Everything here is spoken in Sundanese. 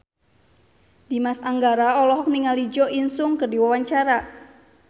Dimas Anggara olohok ningali Jo In Sung keur diwawancara